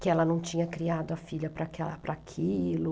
Que ela não tinha criado a filha para aquela, para aquilo.